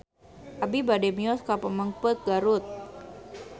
Abi bade mios ka Pamengpeuk Garut